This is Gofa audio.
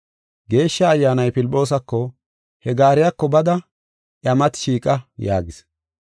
Geeshsha Ayyaanay Filphoosako, “He gaariyako bada iya mati shiiqa” yaagis.